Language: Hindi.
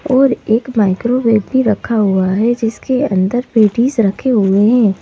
और एक माइक्रोवेव भी रखा हुआ है जिसके अंदर पेटीज रखे हुए हैं।